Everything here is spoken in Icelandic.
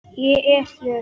Ég er hér.